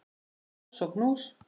Koss og knús.